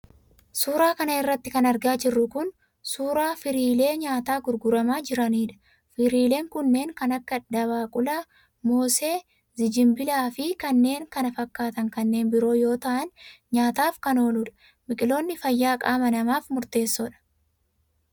Suura kana irratti kan argaa jirru kun, suura firiilee nyaataa gurguramaa jiraniidha. Firiileen kunneen kan akka; dabaaqula, moosee ,zinjibila fi kanneen kana fakkaatan kanneen biroo yoo ta'an ,nyaataaf kan ooludha. Biqiloonni fayyaa qaama namaaf murteessoodha.